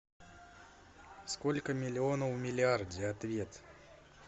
сколько миллионов в миллиарде ответ